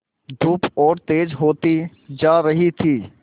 धूप और तेज होती जा रही थी